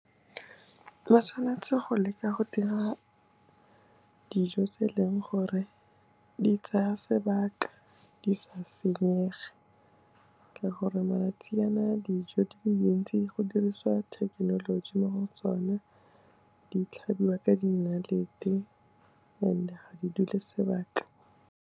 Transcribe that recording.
Ba tshwanetse go leka go dira dijo tse e leng gore di tsaya sebaka di sa senyege, ke gore malatsinyana a dijo di le dintsi go dirisiwa thekenoloji mo go tsona, di tlhabiwa ka dinalete and ga di dule sebaka.